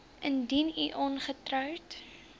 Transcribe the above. indien u ongetroud